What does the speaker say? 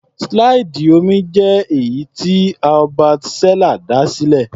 Slide omí jẹ́ èyí tí Herbert Seller dá sílẹ̀.